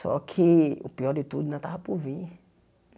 Só que, o pior de tudo, ainda estava por vir.